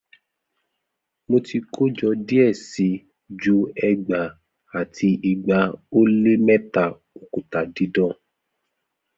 Mo ti kojọ diẹ sii ju ẹgbaa ati igba o le mẹta okuta didan